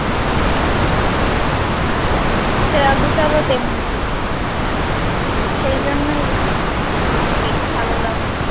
শ্রেয়া ঘোষাল ও তেমনি সেই জন্যই আর কি ভালো লাগে